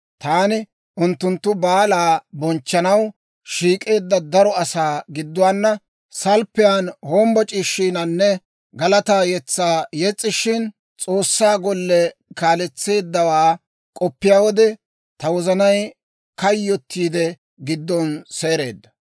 Taani unttunttu baalaa bonchchanaw, shiik'eedda daro asaa gidduwaana salppiyaan hombboc'ishiinanne galataa yetsaa yes's'ishin, S'oossaa golle kaaletseeddawaa k'oppiyaa wode, ta wozanay kayyottiidde, giddon seereedda.